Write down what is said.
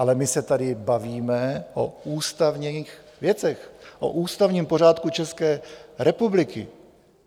Ale my se tady bavíme o ústavních věcech, o ústavním pořádku České republiky.